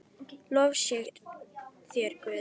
Lof sé þér, Guð.